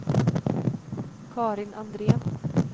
Carin Andrén